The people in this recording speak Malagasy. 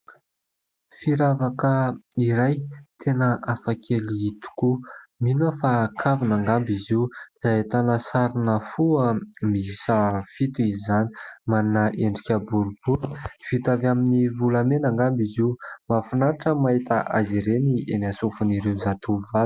Firavaka iray tena hafa kely tokoa. Mino aho fa kavina angamba izy io izay ahitana sarina fo miisa fito izany. Manana endrika boribory vita avy amin'ny volamena angamba izy io. Mahafinaritra mahita azy ireny eny aminy sofonan'ireo zatovovavy.